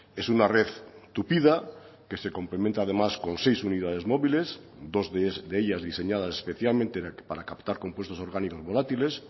es una red tupida que se complementa además con seis unidades móviles dos de ellas diseñadas especialmente para captar compuestos orgánicos volátiles